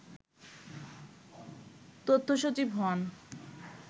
তথ্যসচিব হন